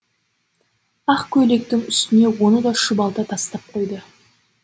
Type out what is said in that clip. ақ көйлектің үстіне оны да шұбалта тастап қойды